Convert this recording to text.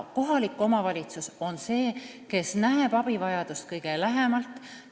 Kohalik omavalitsus on see, kes näeb abivajadust kõige lähemalt.